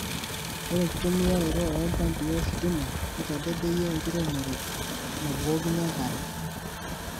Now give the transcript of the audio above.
Ore enkitumiaroto oo mpampi ositima keitadedeyie enkiremore nabukokini enkare.